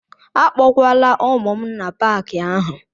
Akpọkwala ụmụ m n'Paakị ahụ!